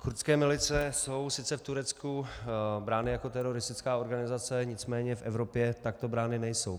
Kurdské milice jsou sice v Turecku brány jako teroristická organizace, nicméně v Evropě takto brány nejsou.